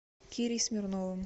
кирей смирновым